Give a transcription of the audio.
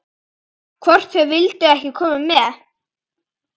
Hvort þau vildu ekki koma með?